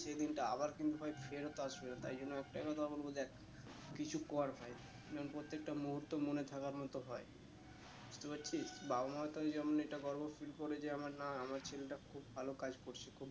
সেই দিনটা আবার কিন্তু ভাই ফেরত আসবে না তাই জন্য একটাই কথা বলবো দেখ কিছু কর ভাই যেন প্রত্যেকটা মুহূর্ত মনে থাকবার মতো হয়ে বুঝতে পারছিস বাবা মা তো ওই জন্য এটা গর্ব feel করে যে আমার না আমার ছেলেটা খুব ভালো কাজ করছে খুব